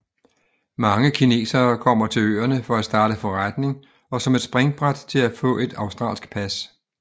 Mange kinesere kommer til øerne for at starte forretning og som et springbræt til at få et australsk pas